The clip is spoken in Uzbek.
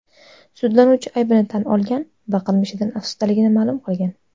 Sudlanuvchi aybini tan olgan va qilmishidan afsusdaligini ma’lum qilgan.